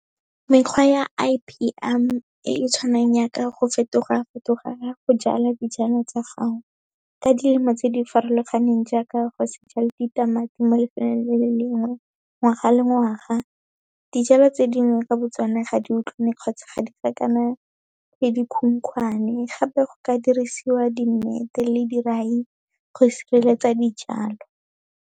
Mekgwa ya I_P_M e e tshwanang yaka go fetoga-fetoga ga go jala dijalo tsa gago, ka dilemo tse di farologaneng jaaka go se jale ditamati mo lefelong le le lengwe, ngwaga le ngwaga. Dijalo tse dingwe ka bo tsone, ga di utlwane kgotsa ga di le dikhukhwane, gape go ka dirisiwa di-net-e le dirai go sireletsa dijalo.